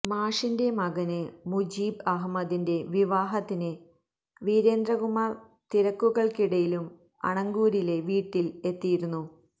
മാഷിന്റെ മകന് മുജീബ് അഹ്മദിന്റെ വിവാഹത്തിന് വീരേന്ദ്രകുമാര് തിരക്കുകള്ക്കിടയിലും അണങ്കൂരിലെ വീട്ടില് എത്തിയിരുന്നു